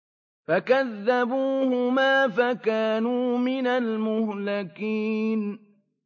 فَكَذَّبُوهُمَا فَكَانُوا مِنَ الْمُهْلَكِينَ